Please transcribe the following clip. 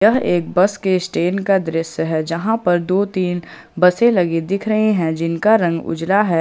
एक बस के स्टैंड का दृश्य है जहां पर दो तीन बसें लगी दिख रहे हैं जिनका रंग उजला है। ।